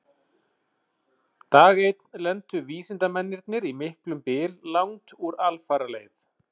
Dag einn lentu vísindamennirnir í miklum byl langt úr alfaraleið.